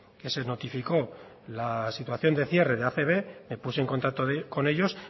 que se notificó la situación de cierre de acb me puse en contacto con ellos